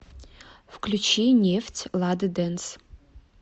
включи нефть лады дэнс